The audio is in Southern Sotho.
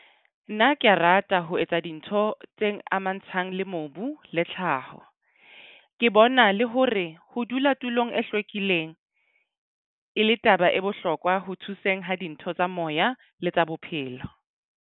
Nna ke a rata ho etsa dintho tseng amangntshang le mobu le tlhaho. Ke bona le hore ho dula tulong e hlwekileng e le taba e bohlokwa ho thuseng ha dintho tsa moya le tsa bophelo.